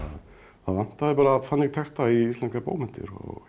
það vantaði bara þannig texta í íslenskar bókmenntir